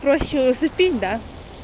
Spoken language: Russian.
проще усыпить да